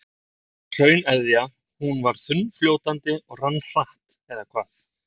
Og hrauneðjan, hún var þunnfljótandi og rann hratt eða hvað?